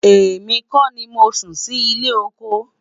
èmi kò ní Mosún Si ile ọkọ